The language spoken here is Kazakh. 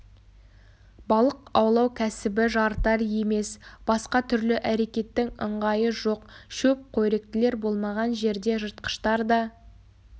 балық аулау кәсібі жарытар емес басқа түрлі әрекеттің ыңғайы жоқ шөп қоректілер болмаған жерде жыртқыштар да